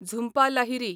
Jhumpa Lahiri